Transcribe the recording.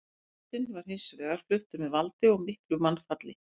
Meirihlutinn var hins vegar fluttur með valdi og miklu mannfalli.